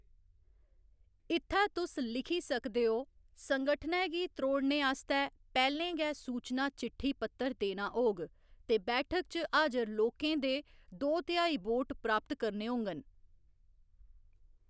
इ'त्थै तुस लिखी सकदे ओ, संगठनै गी त्रौड़ने आस्तै पैह्‌लें गै सूचना चिट्ठी पत्तर देना होग ते बैठक च हाजर लोकें दे दो तिहाई वोट प्राप्त करने होङन।